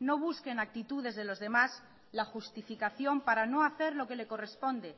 no busque en actitudes de los demás la justificación para no hacer lo que le corresponde